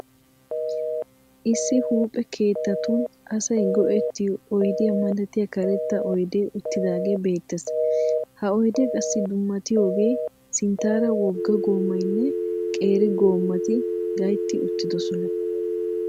Issi huphphe keettatun asay go'ettiyo oydiya malatiya karetta oydee uttidaagee beettees. Ha oydee qassi dummatiyogee sinttaara wogga goomaynne qeeri goomati gaytti uttidosona.